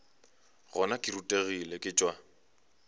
gona ke rutegile ke tšwa